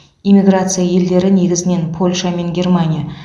эмиграция елдері негізінен польша мен германия